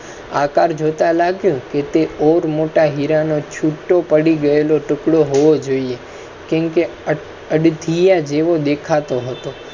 આ કાર જોતા લાગે. ઔર મોટા હીરા છૂટો પડી ગયેલો ટુકડો હોવો જોઈએ. હથિયા જેવો દેખા તો હતો.